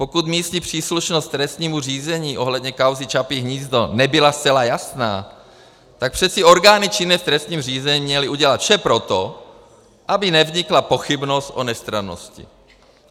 Pokud místní příslušnost k trestnímu řízení ohledně kauzy Čapí hnízdo nebyla zcela jasná, tak přece orgány činné v trestním řízení měly udělat vše pro to, aby nevznikla pochybnost o nestrannosti.